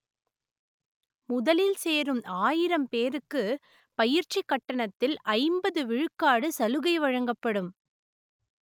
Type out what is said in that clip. முதலில் சேரும் ஆயிரம் பேருக்கு பயிற்சி கட்டணத்தில் ஐம்பது விழுக்காடு சலுகை வழங்கப்படும்